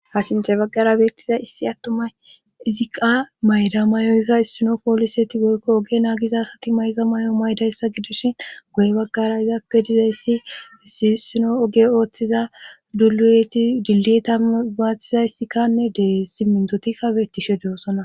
ha sinthe baggara beettiza issi attumay iziqa mayda may7oykka issino pooliseti boykko oge naagiza asati mayza may7o maydayssa gidishin guye baggara izappe dizayssi issi issino oge ooththiza duuti dillita baaththizayissikkanne dee simmintotikka beettishe dossona